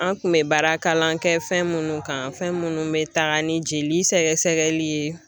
An kun bɛ baarakalan kɛ fɛn minnu kan fɛn minnu bɛ taa ni jeli sɛgɛsɛgɛli ye